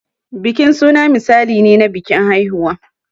Bikin suna misali ne na bikin haihuwa.